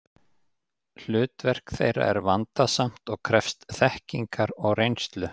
Hlutverk þeirra er vandasamt og krefst þekkingar og reynslu.